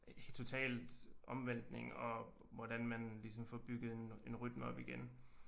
Totalt omvæltning og hvordan man ligesom får bygget en en rytme op igen